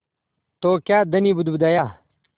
तो क्या धनी बुदबुदाया